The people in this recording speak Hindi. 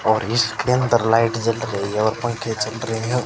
और इसके अंदर लाइट जल रही है और पंखे चल रहे--